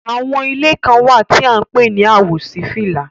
Àwọn ìlẹ̀ kan wa tí à ǹ pẹ̀ ni àwòsífílà.